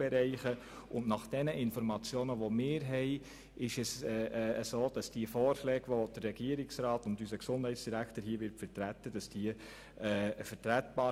Gemäss unseren Informationen sind die Vorschläge des Regierungsrats und unseres Gesundheitsdirektors vertretbar.